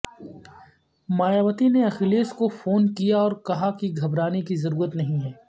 مایاوتی نے اکھیلیش کو فون کیااو ر کہاکہ گھبرانے کی ضرورت نہیں ہے